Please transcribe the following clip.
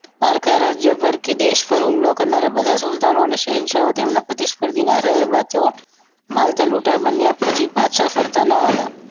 પારકા રાજ્યપર કે દેશ પર હુમલો કરનાર બધા સુલતાન અને શહેનશાહ તેમના પ્રતિષ્ઠિત રહ્યા બાદ તેવો મળતા લૂટર બનીયા પછી પાછા ફરતા ન હતા